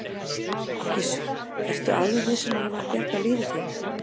Gissur: Ertu alveg viss um að hann hafi bjargað lífi þínu?